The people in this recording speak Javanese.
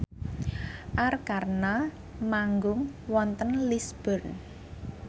Arkarna manggung wonten Lisburn